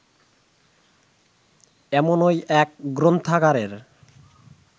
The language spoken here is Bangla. এমনই এক গ্রন্থাগারের